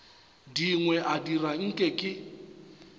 dingwe a dira nke ke